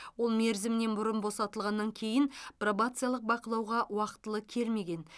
ол мерзімінен бұрын босатылғаннан кейін пробациялық бақылауға уақытылы келмеген